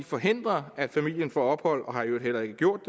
forhindre at familien får ophold og har i øvrigt heller ikke gjort